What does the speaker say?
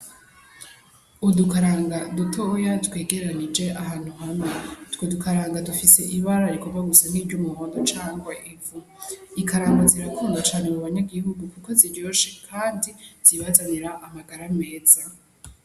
Udukaranga dutoya twegeranije ahantu hamwe, utwo dukaranga dufise ibara rigomba gusa nkiry'umuhondo canke ivu, ikaranga zirakundwa cane mu banyagihugu kuko ziryoshe kandi zibazanira amagara meza.